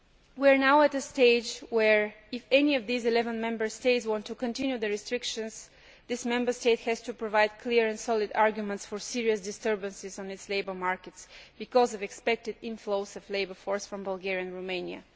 We are now at a stage where, if any of these 11 Member States wants to continue restrictions, that Member State has to provide clear and solid arguments for serious disturbances in its labour markets because of expected inflows of a labour force from Bulgaria and Romania.